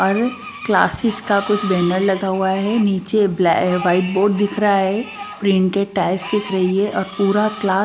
और क्लासेस का कुछ बैनर लगा हुआ है नीचे ब्लै वाइट बोर्ड दिख रहा है प्रिंटेड टाइल्स दिख रही है और पूरा क्ला --